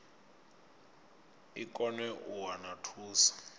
i kone u wana thuso